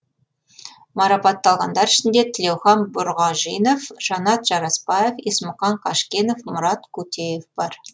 марапатталғандар ішінде тілеухан бұрғажинов жанат жарасбаев есмұхан қажкенов мұрат кутеев бар